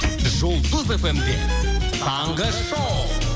жұлдыз фм де таңғы шоу